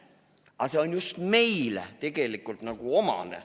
Aga see on tegelikult just meile omane.